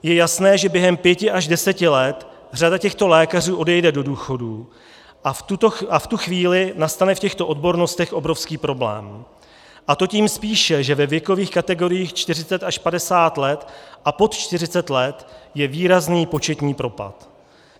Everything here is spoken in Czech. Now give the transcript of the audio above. Je jasné, že během pěti až deseti let řada těchto lékařů odejde do důchodu a v tu chvíli nastane v těchto odbornostech obrovský problém, a to tím spíše, že ve věkových kategoriích 40 až 50 let a pod 40 let je výrazný početní propad.